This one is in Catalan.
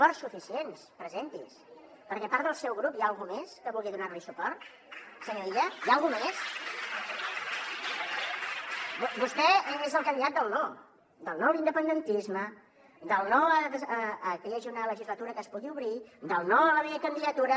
ficients presenti’s perquè a part del seu grup hi ha algú més que vulgui donar li suport senyor illa hi ha algú més vostè és el candidat del no del no a l’independentisme del no a què hi hagi una legislatura que es pugui obrir del no a la meva candidatura